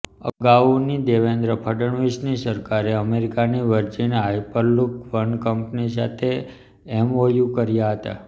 અગાઉની દેવેન્દ્ર ફડણવીસની સરકારે અમેરિકાની વર્જિન હાયપરલૂપ વન કંપની સાથે એમઓયુ કર્યા હતા